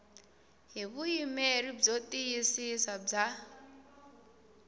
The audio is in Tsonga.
hi vuyimeri byo tiyisisa bya